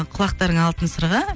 құлақтарыңа алтын сырға